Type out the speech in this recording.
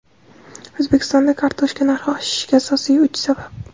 O‘zbekistonda kartoshka narxi oshishiga asosiy uch sabab;.